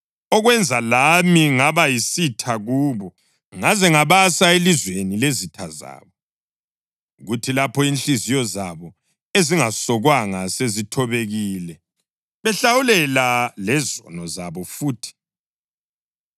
okwenza lami ngaba yisitha kubo ngaze ngabasa elizweni lezitha zabo, kuthi lapho inhliziyo zabo ezingasokwanga sezithobekile, behlawulela lezono zabo futhi,